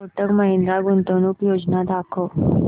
कोटक महिंद्रा गुंतवणूक योजना दाखव